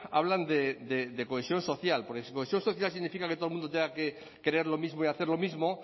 hablan de cohesión social porque cohesión social significa que todo el mundo tenga que creer lo mismo y hacer lo mismo